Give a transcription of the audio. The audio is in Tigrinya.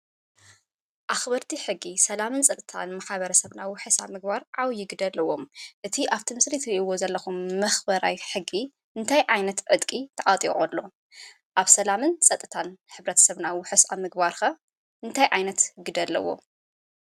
ኣኽበርቲ ሕጊ ሰላምን ፀጥታን ማ/ሰብና ውሑስ ኣብ ምግባር ዓብይ ግደ ኣለዎም፡፡ እቲ ኣብቲ ምስሊ ትሪእዎ ዘለኹም መኽበራይ ሕጊ እንታይ ዓይነት ዕጥቂ ተዓጢቑ ኣሎ? ኣብ ሰላምን ፀጥታን ሕ/ሰብና ዉሑስ ኣብ ምግባር ኸ እንታይ ዓይነት ግደ ኣለዎ?